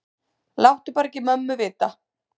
Láttu bara ekki mömmu vita.